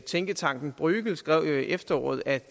tænketanken bruegel skrev jo i efteråret at